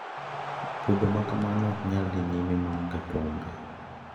Budho makama ok nyal dhi nyime maonge thumbe.